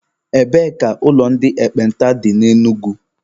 Ebee ka ụlọ ndị ekpenta dị na Enugu?